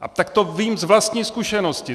A tak to vím z vlastní zkušenosti.